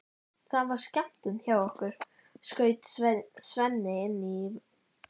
Það var skemmtun hjá okkur, skaut Svenni inn í vesældarlega.